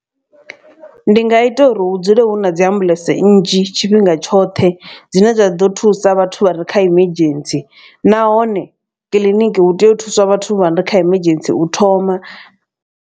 Ndi nga ita uri hu dzule hu na dzi ambuḽentse nnzhi tshifhinga tshoṱhe dzine dza ḓo thusa vhathu vha re kha emergency nahone kiḽiniki hu tea u thuswa vhathu vha re kha emergency u thoma.